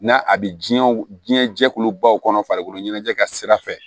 N'a a bɛ diɲɛ diɲɛ jɛkulubaw kɔnɔ farikolo ɲɛnajɛ ka sira fɛ